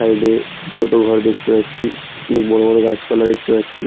Side এ ছোট ঘর দেখতে পাচ্ছি অনেক বড়ো বড়ো গাছ পালা দেখতে পাচ্ছি।